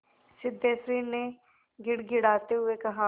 सिद्धेश्वरी ने गिड़गिड़ाते हुए कहा